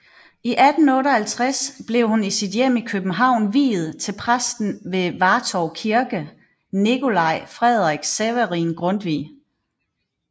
I 1858 blev hun i sit hjem i København viet til præsten ved Vartov Kirke Nicolai Frederik Severin Grundtvig